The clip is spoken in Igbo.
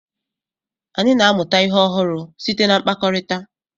anyị na-amụta ihe ọhụrụ site na mkpakọrịta.